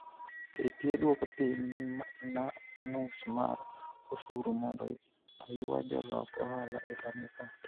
KPA duoko piny nus mar osuru mondo oywa jolok ohala e Lamu Port